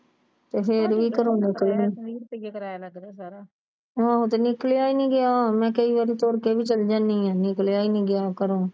ਤੇ ਫਿਰ ਵੀ ਘਰੋਂ ਨਿਕਲਾ ਨੀ ਗਿਆ ਹਾਂ ਤੇ ਨਿਕਲਿਆ ਹੀ ਨਹੀਂ ਗਿਆ ਤੇ ਮੈਂ ਕਈ ਵਾਰੀ ਤੁਰ ਕੇ ਵੀ ਚਲੀ ਜਾਂਦੀ ਆ ਤੇ ਨਿਕਲਿਆ ਨੀ ਗਿਆ ਘਰੋਂ